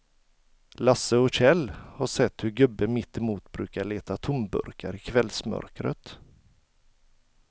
Lasse och Kjell har sett hur gubben mittemot brukar leta tomburkar i kvällsmörkret.